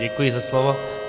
Děkuji za slovo.